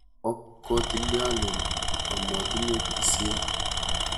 Ok kotilieolen omotinye tisiet.